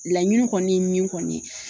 Laɲini kɔni min kɔni